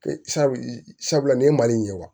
Sabula nin ye mali in ye wa